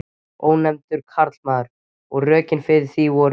Ónefndur karlmaður: Og rökin fyrir því voru?